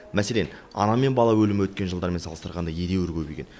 мәселен ана мен бала өлімі өткен жылдармен салыстырғанда едеуір көбейген